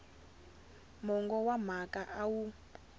mongo wa mhaka a wu